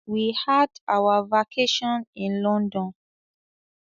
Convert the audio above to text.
We had our vacation in London.